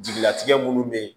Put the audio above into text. Jigilatigɛ minnu bɛ yen